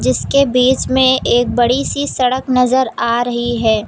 इसके बीच में एक बड़ी सी सड़क नजर आ रही है।